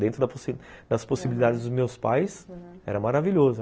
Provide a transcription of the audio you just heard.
Dentro da das possibilidades dos meus pais, aham, era maravilhoso.